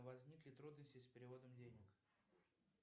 возникли трудности с переводом денег